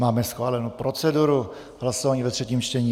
Máme schválenu proceduru hlasování ve třetím čtení.